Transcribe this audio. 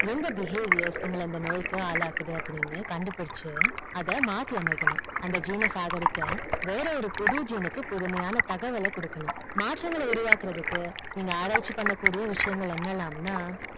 எந்த behaviour உங்கள இந்த நோய்க்கு ஆளாகுது அப்டின்னு கண்டுபிடிச்சு அத மாத்தி அமைக்கனும் அந்த gene அ சாக அடிக்க வேறொரு புது gene க்கு புதுமையான தகவல்ல கொடுக்கனும் மாற்றங்க உருவாக்கறது நீங்க ஆராய்ச்சி பண்ண கூடிய விஷியன்கள் என்னலாம் நா